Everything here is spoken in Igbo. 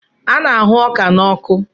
A na-ahụ ọka n'ọkụ